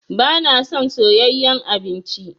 Ba na son soyayen abinci